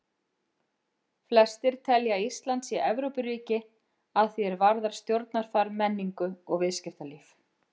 Flestir telja að Ísland sé Evrópuríki að því er varðar stjórnarfar, menningu og viðskiptalíf.